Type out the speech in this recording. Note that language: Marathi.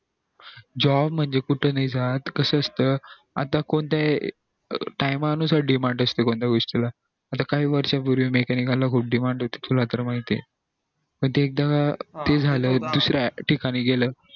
job म्हणजे कुठं नई जात कसं असत time नुसार demand असते कोणत्या गोष्टी ला आता काही वर्षा पूर्वी mechanical ला खूप demand होती तुला तर माहित ये पण ते एकदा झालं दुसऱ्या ठिकाणी गेलं